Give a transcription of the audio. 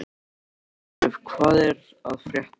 Arnleif, hvað er að frétta?